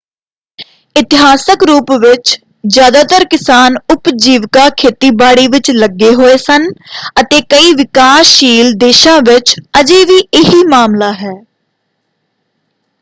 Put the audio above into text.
ਇਤਿਹਾਸਕ ਰੂਪ ਵਿੱਚ ਜ਼ਿਆਦਾਤਰ ਕਿਸਾਨ ਉਪਜੀਵਿਕਾ ਖੇਤੀਬਾੜੀ ਵਿੱਚ ਲੱਗੇ ਹੋਏ ਸਨ ਅਤੇ ਕਈ ਵਿਕਾਸਸ਼ੀਲ ਦੇਸ਼ਾਂ ਵਿੱਚ ਅਜੇ ਵੀ ਇਹੀ ਮਾਮਲਾ ਹੈ।